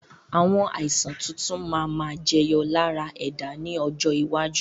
Àwọn Àìsàn tuntun máa ma jẹyọ lára ẹ̀dá ni ọjọ́ iwájú